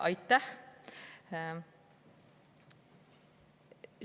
Aitäh!